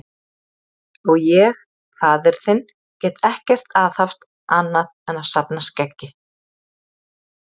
Og ég, faðir þinn, get ekkert aðhafst annað en að safna skeggi.